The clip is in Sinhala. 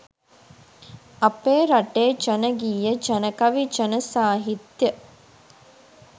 අපේ රටේ ජන ගීය ජනකවි ජන සාහිත්‍ය